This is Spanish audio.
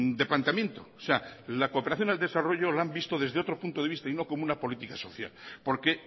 de planteamiento o sea la cooperación al desarrollo la han visto desde otro punto de vista y no como una política social porque